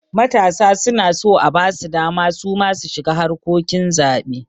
Matasa suna so abasu dama suma su shiga harkokin zaɓe